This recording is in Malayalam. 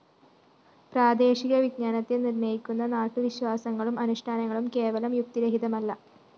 പ്രാദേശിക വിജ്ഞാനത്തെ നിര്‍ണ്ണയിക്കുന്ന നാട്ടുവിശ്വാസങ്ങളും അനുഷ്ഠാനങ്ങളും കേവലം യുക്തിരഹിതമല്ല